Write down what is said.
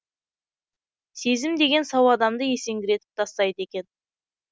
сезім деген сау адамды есеңгіретіп тастайды екен